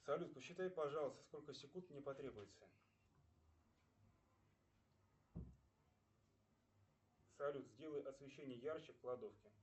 салют посчитай пожалуйста сколько секунд мне потребуется салют сделай освещение ярче в кладовке